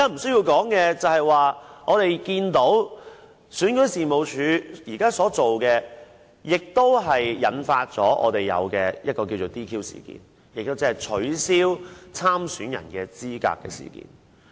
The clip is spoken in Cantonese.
此外，我們看到選舉事務處現時所做的事情，引發出現所謂的 "DQ" 事件，即取消立法會補選參選人資格的事情。